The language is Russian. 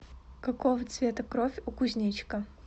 какого цвета кровь у кузнечика